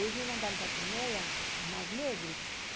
Eles me mandaram para a Crimeia, no Mar Negro.